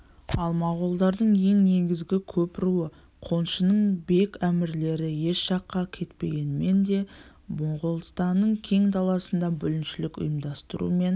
ал моғолдардың ең негізгі көп руы қоңшының бек әмірлері еш жаққа кетпегенмен де моғолстанның кең даласында бүліншілік ұйымдастырумен